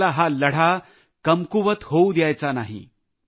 आपल्याला हा लढा कमकुवत करायचा नाही